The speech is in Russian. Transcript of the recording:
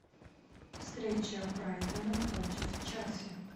встреча брайтона против челси